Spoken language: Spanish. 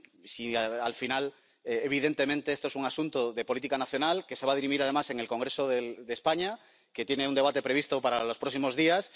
Si, al final, evidentemente, esto es un asunto de política nacional, que se va a dirimir, además, en el Congreso de España, que tiene un debate previsto para los próximos días.